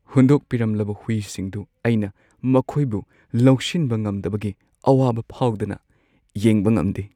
ꯍꯨꯟꯗꯣꯛꯄꯤꯔꯝꯂꯕ ꯍꯨꯏꯁꯤꯡꯗꯨ ꯑꯩꯅ ꯃꯈꯣꯏꯕꯨ ꯂꯧꯁꯤꯟꯕ ꯉꯝꯗꯕꯒꯤ ꯑꯋꯥꯕ ꯐꯥꯎꯗꯅ ꯌꯦꯡꯕ ꯉꯝꯗꯦ ꯫